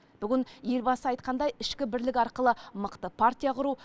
бүгін елбасы айтқандай ішкі бірлік арқылы мықты партия құру